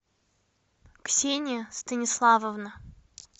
ксения станиславовна